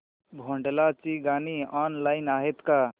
भोंडला ची गाणी ऑनलाइन आहेत का